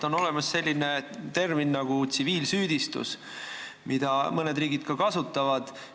On olemas selline termin nagu tsiviilsüüdistus, mida mõned riigid ka kasutavad.